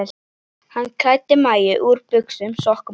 Hann klæddi Maju úr buxum, sokkum og skóm.